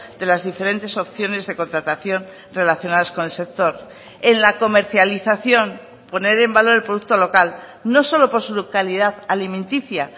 de las diferentes opciones de contratación relacionadas con el sector en la comercialización poner en valor el producto local no solo por su localidad alimenticia